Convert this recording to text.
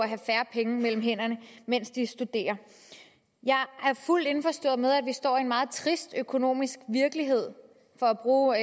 have færre penge mellem hænderne mens de studerer jeg er fuldt indforstået med at vi står i en meget trist økonomisk virkelighed for at bruge